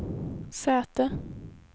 säte